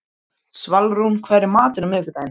Svalrún, hvað er í matinn á miðvikudaginn?